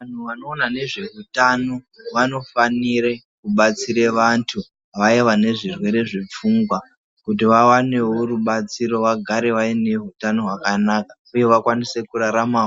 Vantu vanoona ngezvehutano vanofanira kubatsira antu Vaya vane zvirwere zvepfungwa kuti vawanewo ribatsiro vagare vane hutano hwakanaka uye vakwanisewo kurarama